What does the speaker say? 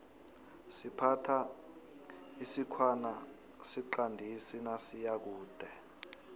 siphatha isikhwana siqandisi nasiyakude